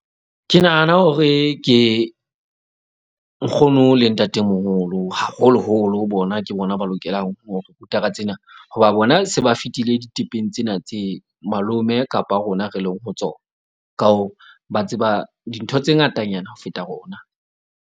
Ke nahana hore ke nkgono le ntatemoholo haholoholo bona. Ke bona ba lokelang ho re ruta ka tsena. Hoba bona se ba fetile ditepeng tsena tse malome kapa rona re leng ho tsona, ka ho ba tseba dintho tse ngatanyana ho feta rona.